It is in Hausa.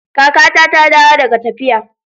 Kakata ta dawo daga tafiya.